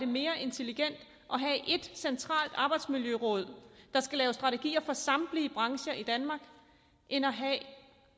mere intelligent at have ét centralt arbejdsmiljøråd der skal lave strategier for samtlige brancher i danmark end at have